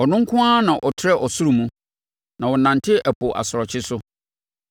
Ɔno nko ara na ɔtrɛ ɔsoro mu, na ɔnante ɛpo asorɔkye so.